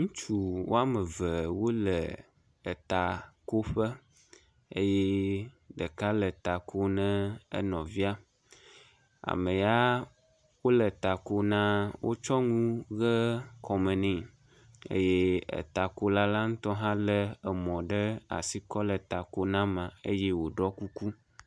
Ŋutsu woame ve wole etakoƒe eye ɖeka le ta kom nɛ enɔvia, amea wole ta ko na wotsyɔ ŋu ʋe kɔme nɛ eye etakola la ŋutɔ hã lé emɔ ɖe asi kɔ le ta ko na mea eye wòɖɔ kuku.